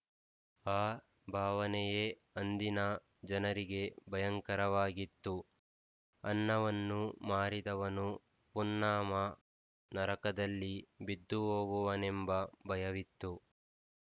ಆ ಭಾವನೆಯೆ ಅಂದಿನ ಜನರಿಗೆ ಭಯಂಕರವಾಗಿತ್ತು ಅನ್ನವನ್ನು ಮಾರಿದವನು ಪುನ್ನಾಮ ನರಕದಲ್ಲಿ ಬಿದ್ದುಹೋಗುವನೆಂಬ ಭಯವಿತ್ತು